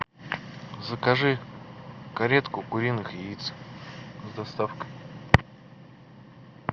закажи каретку куриных яиц с доставкой